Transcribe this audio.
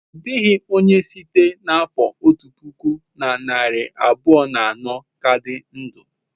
Ọ dịghị onye site n'afọ otu puku na narị abụọ na anọ ka dị ndụ.